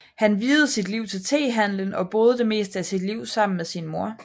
Han viede sit liv til tehandelen og boede det meste af sit liv sammen med sin mor